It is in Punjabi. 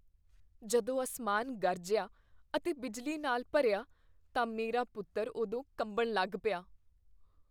ਜਦੋਂ ਅਸਮਾਨ ਗਰਜਿਆ ਅਤੇ ਬਿਜਲੀ ਨਾਲ ਭਰਿਆ ਤਾਂ ਮੇਰਾ ਪੁੱਤਰ ਉਦੋਂ ਕੰਬਣ ਲੱਗ ਪਿਆ I